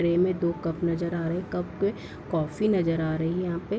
Tray में दो cup नजर आ रहे हैं कप कॉफ़ी नजर आ रही यहाँ पे।